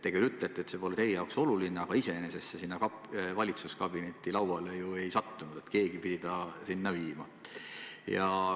Te küll ütlete, et see pole teie jaoks oluline, aga iseenesest see sinna valitsuskabineti lauale ju ei sattunud, keegi pidi ta sinna viima.